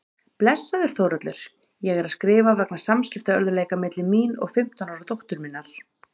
Blessaður Þórhallur, ég er að skrifa vegna samskiptaörðugleika milli mín og fimmtán ára dóttur minnar.